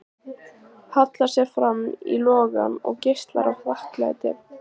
Hallar sér fram í logann og geislar af þakklæti.